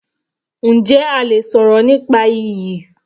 Njẹ́ a lè sọ̀rọ̀ nípa iyì?